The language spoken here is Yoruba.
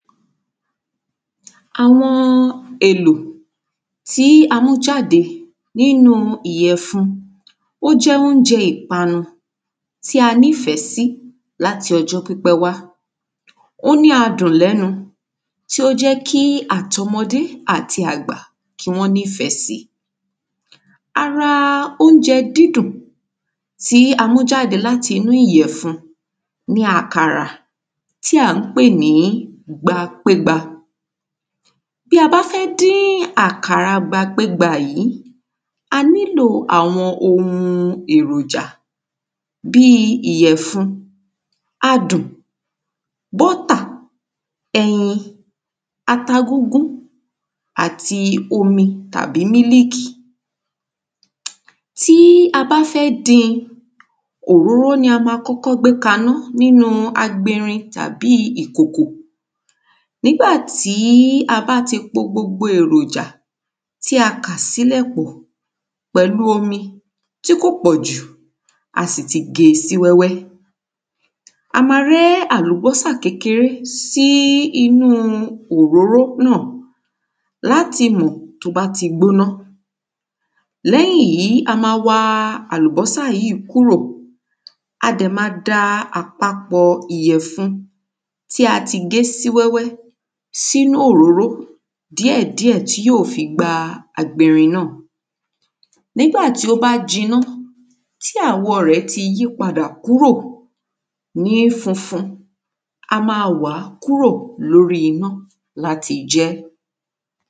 àwọn èlò tí a mú jáde nínu ìyẹ̀fun ó jẹ́ oúnjẹ ìpanu tí a ní ìfẹ́ sí láti ọjọ́ pípẹ́ wá ó ní adùn lẹ́nu tó jẹ́ kí àti ọmọdé àti àgbà kí wọ́n níìfẹ́ si ara oúnjẹ dídùn tí a mú jáde láti inú ìyẹ̀fun ni àkàrà tí a ń pè ní gbapégba bí a bá fẹ́ dín àkàrà gbapégba yìí, anílò àwọn ohun èròjà bíi ìyẹ̀fun, adùn, bọ́tà, ẹyin ata gúngún, omi tàbí mílíkì tí a bá fẹ́ din òróró ni a ma kọ́kọ́ gbé kaná nínu agberin tàbí ìkòkò nígbà tí a bá ti po gbogbo èròjà, tí a kà sílẹ̀ pọ̀ pẹ̀lú omi tí kò pọ̀jù a sì ti ge sí wẹ́wẹ́ a ma rẹ́ àlùbọ́sà kékeré sínú òróró náà láti mọ̀ tó bá ti gbóná lẹ́yìn yí a ma wa àlúbọ́sà yíì kúrò a dẹ̀ ma da papọ̀ ìyẹ̀fun tí a ti gé sí wẹ́wẹ́ sínú òróró díẹ̀díẹ̀ tí yóò fi gba inú agberin náà nígbà tí ó bá jiná tí àwọ̀ rẹ̀ ti yí padà kúrò ní funfun a máa wàá kúrò lórí iná láti jẹ́.